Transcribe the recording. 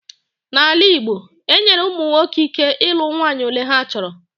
N'ala igbo, e nyere ụmụ nwoke ike ilu nwanyị ole ha chọrọ